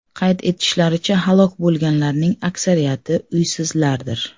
Qayd etishlaricha, halok bo‘lganlarning aksariyati uysizlardir.